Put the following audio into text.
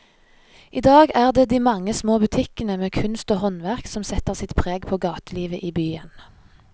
I dag er det de mange små butikkene med kunst og håndverk som setter sitt preg på gatelivet i byen.